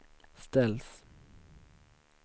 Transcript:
ställs